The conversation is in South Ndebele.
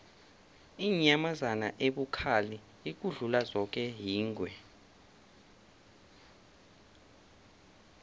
inyamazana ebukhali ukudlula zoke yingwe